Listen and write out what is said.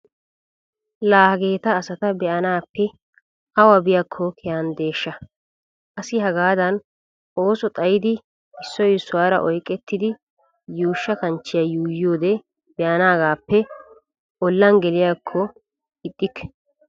Laa hageeta asata be'anaappe awa biyaakko kehanddeshsha. Asi hagaadan ooso xayidi issoy issuwaara oyqettidi yuushsha kanchchiya yuuyiyoode be'anaagaappe ollan geliyaakokka ixxikke.